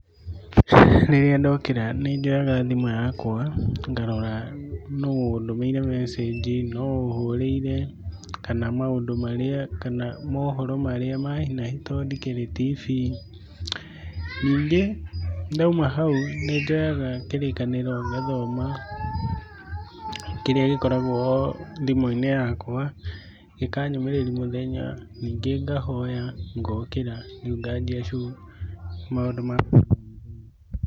Rĩrĩa ndokĩra nĩ njoyaga thimũ yakwa, ngarora nũ ũndũmĩire message nũ ũhũrĩire, kana maũndũ marĩa, kana mohoro marĩa ma hi na hi to ndikĩrĩ TV, ningĩ ndauma hau nĩ njoyaga kĩrĩkanĩro ngathoma, kĩria gĩkoragwo o thimũ-inĩ yakwa, gĩkanyũmĩrĩria mũthenya, ningĩ ngahoya ngokĩra, rĩu nganjia shughuli maũndũ ma o mũthenya.